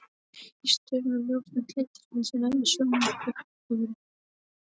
Í stöfum er ljósnæmt litarefni, sem nefnist sjónpurpuri.